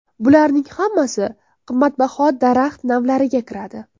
Bularning hammasi qimmatbaho daraxt navlariga kiradi.